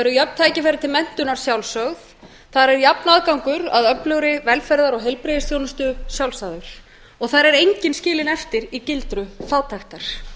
jöfn tækifæri til menntunar sjálfsögð þar er jafn aðgangur að öflugri velferðar og heilbrigðisþjónustu sjálfsagður og þar er enginn skilinn eftir í gildrum fátæktar